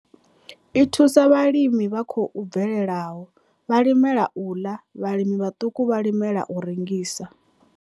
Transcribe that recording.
I thusa vhalimi vha khou bvelelaho, vhalimela u ḽa, vhalimi vhaṱuku vhalimela u rengisa.